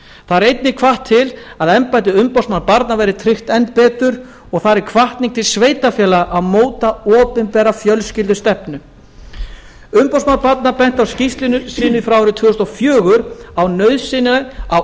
þar er einnig hvatt til að embætti umboðsmanns barna verði tryggt enn betur og þar er hvatning til sveitarfélaga að móta opinbera fjölskyldustefnu umboðsmaður barna benti í skýrslu sinni frá árinu tvö þúsund og fjögur á nauðsynina á